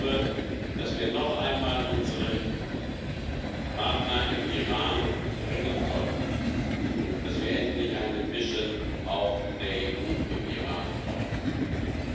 Ich glaube, dass wir noch einmal unsere Partner im Iran drängen sollten, dass wir endlich auch eine Mission der EU im Iran aufmachen können.